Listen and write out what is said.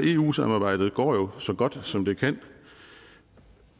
eu samarbejdet jo går så godt som det kan